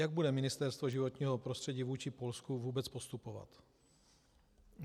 Jak bude Ministerstvo životního prostředí vůči Polsku vůbec postupovat?